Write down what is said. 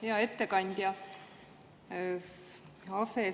Hea ettekandja!